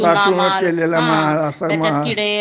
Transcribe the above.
साठवणूक केलेला माल असा माल हम्म